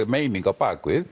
meining á